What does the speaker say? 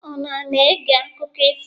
Unu ana-ege akụkọ ifo?